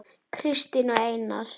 Kristín og Einar.